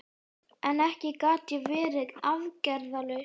En ekki gat ég verið aðgerðalaus.